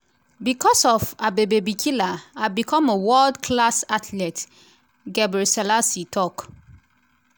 becos of abebe bikila i become a world class athlete” gebrselassie tok.